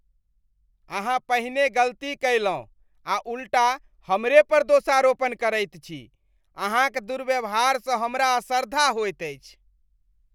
अहाँ पहिने गलती कयलहुँ आ उल्टा हमरे पर दोषारोपण करैत छी ? अहाँक दुर्व्यवहारसँ हमरा असरधा होइत अछि।